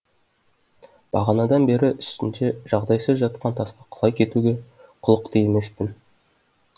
бағанадан бері үстінде жағдайсыз жатқан тасқа құлай кетуге құлықты емеспін